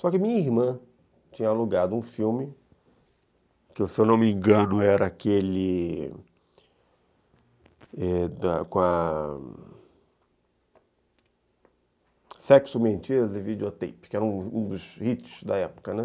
Só que minha irmã tinha alugado um filme, que se eu não me engano era aquele com a Sexo, Mentiras e Videotape, que era um dos hits da época, né.